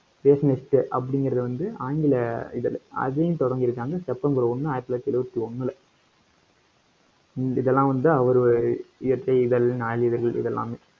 rationlist அப்படிங்கறதை வந்து, ஆங்கில இதழ் அதையும் தொடங்கி இருக்காங்க. செப்டம்பர் ஒண்ணு ஆயிரத்தி தொள்ளாயிரத்தி எழுபத்தி ஒண்ணுல ஹம் இதெல்லாம் வந்து அவரு இயற்கை இதழ், நாளிதழ்கள் இது எல்லாமே.